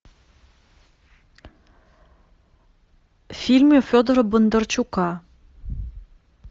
фильмы федора бондарчука